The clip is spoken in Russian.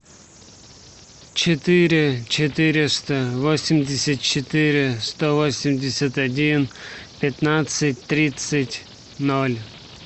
четыре четыреста восемьдесят четыре сто восемьдесят один пятнадцать тридцать ноль